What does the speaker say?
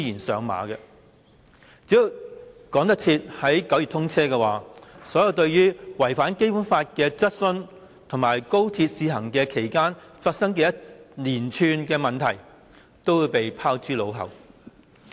只要趕得及在9月通車，所有對違反《基本法》的質詢，以及在高鐵試行期間發生的一連串問題，均會被拋諸腦後。